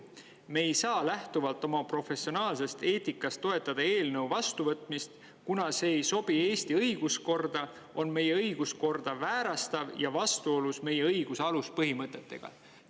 "Me ei saa lähtuvalt oma professionaalsest eetikast toetada eelnõu vastuvõtmist, kuna see ei sobi Eesti õiguskorda, on meie õiguskorda väärastav ja vastuolus meie õiguse aluspõhimõtetega.